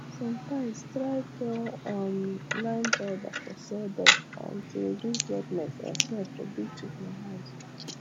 sometimes try poue um lime powder for sawdust um to reduce wetness and smell for big chicken house